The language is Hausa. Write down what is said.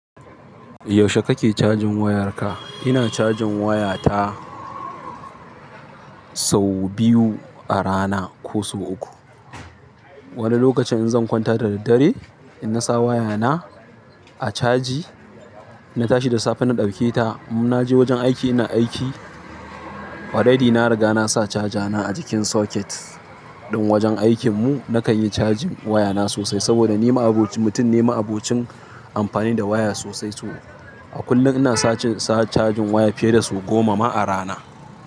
Yaushe kake cajin wayarka? Ina cajin wayata sau biyu a rana ko so uku. Wani lokacin in zan kwanta da daddare, ina sa wayana a caji, na tashi da safe na ɗauke ta. In naje wajen aiki ina aiki, already na riga na sa cajana a jikin socket. Ɗin wajen aikin mu nakanyi cajin wayana sosai sabida ni ma'abocin mutum ne ma'abocin amfani da waya sosai to a kullum ina sa cin, sa cajin waya fiye da so goma ma a rana.